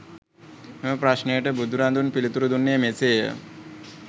එම ප්‍රශ්නයට බුදුරදුන් පිළිතුරු දුන්නේ මෙසේය